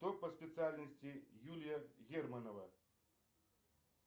кто по специальности юлия германова